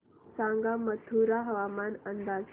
सांगा मथुरा हवामान अंदाज